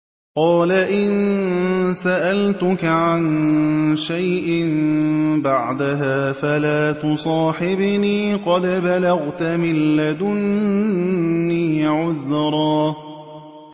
قَالَ إِن سَأَلْتُكَ عَن شَيْءٍ بَعْدَهَا فَلَا تُصَاحِبْنِي ۖ قَدْ بَلَغْتَ مِن لَّدُنِّي عُذْرًا